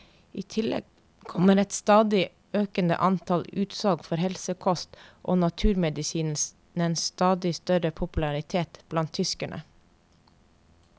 I tillegg kommer et økende antall utsalg for helsekost og naturmedisinens stadig større popularitet blant tyskerne.